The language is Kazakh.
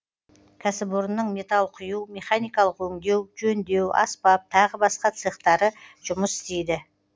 кәсіпорынның металл құю механикалық өңдеу жөндеу аспап тағы басқа цехтары жұмыс істейді